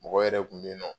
Mɔgɔ yɛrɛ kun be yennɔ